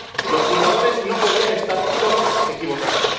Los fundadores no podían estar todos equivocados.